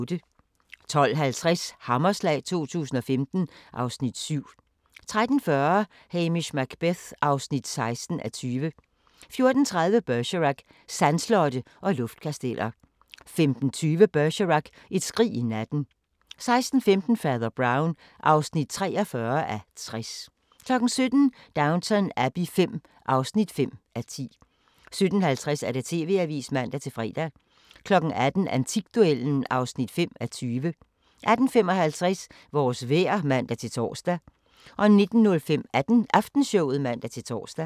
12:50: Hammerslag 2015 (Afs. 7) 13:40: Hamish Macbeth (16:20) 14:30: Bergerac: Sandslotte og luftkasteller 15:20: Bergerac: Et skrig i natten 16:15: Fader Brown (43:60) 17:00: Downton Abbey V (5:10) 17:50: TV-avisen (man-fre) 18:00: Antikduellen (5:20) 18:55: Vores vejr (man-tor) 19:05: Aftenshowet (man-tor)